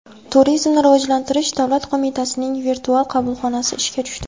Turizmni rivojlantirish davlat qo‘mitasining virtual qabulxonasi ishga tushdi.